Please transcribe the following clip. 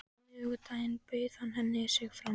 Á miðvikudaginn bauð hann henni sig fram.